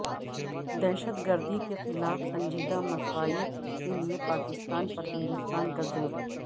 دہشت گردی کیخلاف سنجیدہ مساعی کیلئے پاکستان پر ہندوستان کا زور